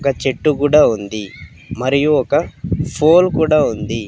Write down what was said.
ఒక చెట్టు కూడా ఉంది మరియు ఒక ఫోల్ కూడా ఉంది.